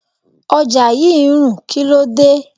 Ọjà yí ń rùn, kíló dé?